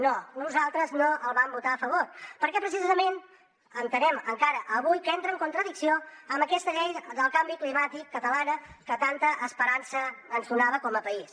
no nosaltres no el vam votar a favor perquè precisament entenem encara avui que entra en contradicció amb aquesta llei del canvi climàtic catalana que tanta esperança ens donava com a país